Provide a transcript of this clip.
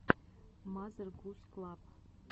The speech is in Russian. мазер гуз клаб